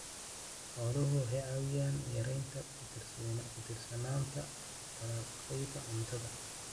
Xooluhu waxay caawiyaan yaraynta ku tiirsanaanta dalagyada cuntada.